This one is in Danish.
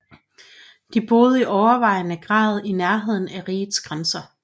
De boede i overvejende grad i nærheden af rigets grænser